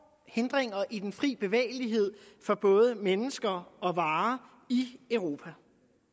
hindringer i den frie bevægelighed for både mennesker og varer i europa